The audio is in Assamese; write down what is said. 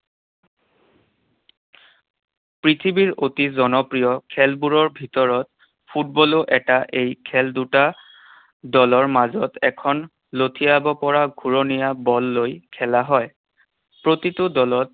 পৃথিৱীৰ অতি জনপ্ৰিয় খেলবোৰৰ ভিতৰত ফুটবলো এটা। এই খেল দুট দলৰ মাজত এখন লঠিয়াব পৰা ঘূৰণীয়া বল লৈ খেলা হয়। প্ৰতিটো দলত